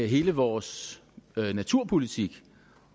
hele vores naturpolitik